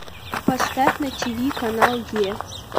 поставь на тиви канал е